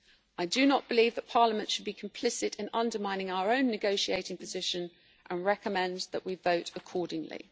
I do not believe that Parliament should be complicit in undermining our own negotiating position and recommend that we vote accordingly.